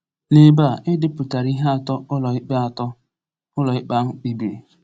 N’ebe a, e depụtara ihe atọ ụlọikpe atọ ụlọikpe ahụ kpebiri.